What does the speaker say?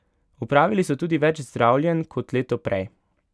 Opravili so tudi več zdravljenj kot leto prej.